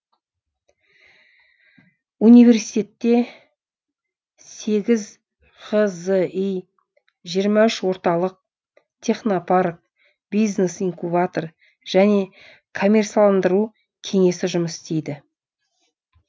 университте сегіз ғзи жиырма үш орталық технопарк бизнес инкубатор және коммерциаландыру кеңесі жұмыс істейді